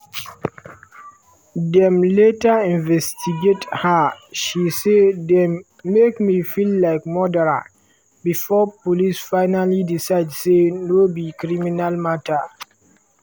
dem later investigate her and she say dem "make me feel like murderer" before police finaly decide say no be criminal mata.